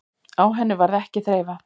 Á henni varð ekki þreifað.